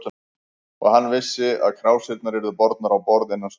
Og hann vissi, að krásirnar yrðu bornar á borð innan stundar.